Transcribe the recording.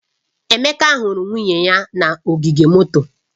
Emeka huru nwunye ya n'ogige moto